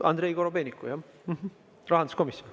Andrei Korobeinik, rahanduskomisjon.